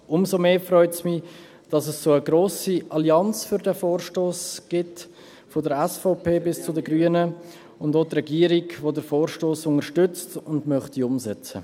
Umso mehr freut es mich, dass es eine so grosse Allianz für diesen Vorstoss gibt von der SVP bis zu den Grünen und auch die Regierung, die den Vorstoss unterstützt und umsetzen möchte.